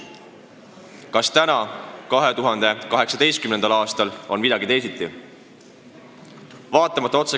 Kas nüüd, 2018. aastal on midagi teisiti?